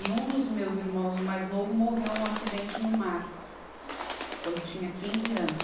E um dos meus irmãos, o mais novo, morreu num acidente no mar, quando tinha quinze anos.